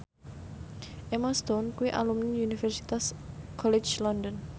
Emma Stone kuwi alumni Universitas College London